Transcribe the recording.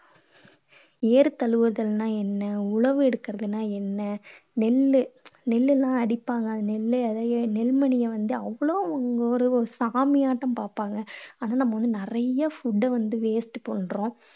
ஏறு தழுவுதல்னா என்ன? உழவு எடுக்கறதுன்னா என்ன? நெல் நெல் எல்லாம் அடிப்பாங்க. நெல்லு நெல் மணிய வந்து அவ்வளோ ஒரு ஒரு சாமியாட்டம் பார்ப்பாங்க. நம்ம வந்து நிறைய food ட வந்து waste பண்றோம்.